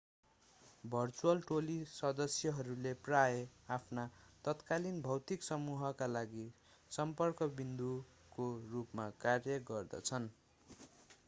virtual टोली सदस्यहरूले प्रायः आफ्ना तत्कालिन भौतिक समूहका लागि सम्पर्क विन्दुको रूपमा कार्य गर्दछन्